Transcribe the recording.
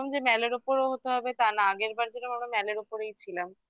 যে mall এর ওপরও হতে হবে তা না আগেরবার যেরকম আমরা mall এর ওপরেই ছিলাম